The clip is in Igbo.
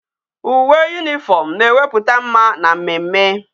Uwe uniform na eweputa mma na mmemme